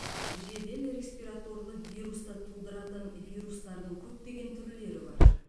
жедел респираторлы вирусты тудыратын вирустардың көптеген түрлері бар